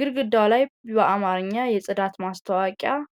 ግድግዳው ላይ በአማርኛ የጽዳት ማስታወቂያ አለ።